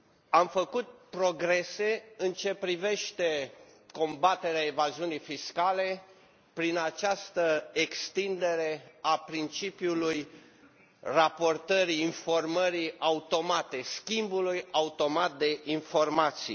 Am făcut progrese în ce privește combaterea evaziunii fiscale prin această extindere a principiului raportării, informării automate, schimbului automat de informații.